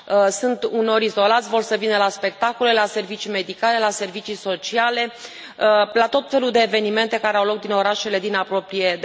Sunt uneori izolați, vor să vină la spectacole, la servicii medicale, la servicii sociale, la tot felul de evenimente care au loc în orașele din apropiere.